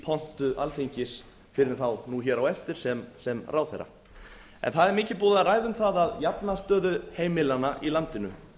pontu alþingis fyrr en þá nú á eftir sem ráðherra það er mikið búið að ræða um það að jafna stöðu heimilanna í landinu